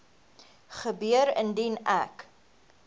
gebeur indien ek